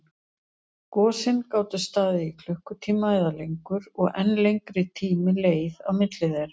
Gosin gátu staðið í klukkutíma eða lengur, og enn lengri tími leið á milli þeirra.